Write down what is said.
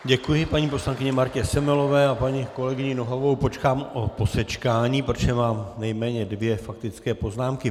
Děkuji paní poslankyni Martě Semelové a paní kolegyni Nohavovou požádám o posečkání, protože mám nejméně dvě faktické poznámky.